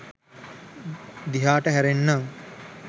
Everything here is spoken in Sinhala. දිහාට හැරෙන්නම්.